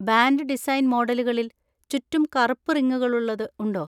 Band design മോഡലുകളിൽ, ചുറ്റും കറുപ്പ് റിങ്ങുകളുള്ളത് ഉണ്ടോ?